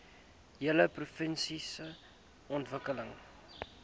hele provinsie ontwikkel